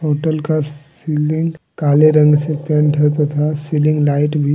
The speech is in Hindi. होटल का सीलिंग काले रंग से पेंट होता था सीलिंग लाइट भी--